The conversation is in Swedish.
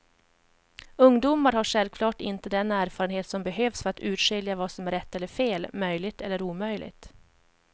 Ungdomar har självklart inte den erfarenhet som behövs för att urskilja vad som är rätt eller fel, möjligt eller omöjligt.